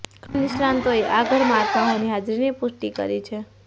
ઘણા નિષ્ણાતોએ આ ઘરમાં આત્માઓની હાજરીની પુષ્ટિ કરી છે